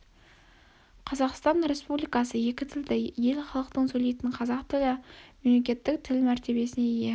қазақстан республикасы екі тілді ел халықтың сөйлейтін қазақ тілі мемлекеттік тіл мәртебесіне ие